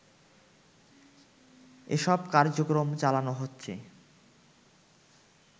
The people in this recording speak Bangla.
এসব কার্যক্রম চালানো হচ্ছে